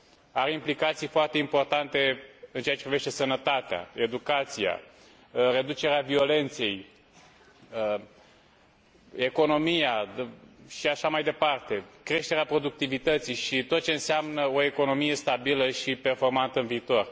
Are implicații foarte importante în ceea ce privește sănătatea, educația, reducerea violenței, economia și așa mai departe, creșterea productivității și tot ce înseamnă o economie stabilă și performantă în viitor.